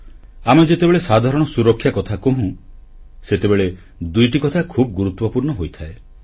ଆମେ ଯେତେବେଳେ ସାଧାରଣ ସୁରକ୍ଷା କଥା କହୁଁ ସେତେବେଳେ ଦୁଇଟି କଥା ଖୁବ୍ ଗୁରୁତ୍ୱପୂର୍ଣ୍ଣ ହୋଇଥାଏ